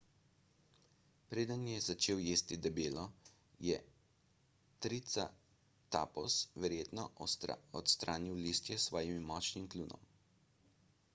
preden je začel jesti deblo je triceratops verjetno odstranil listje s svojim močnim kljunom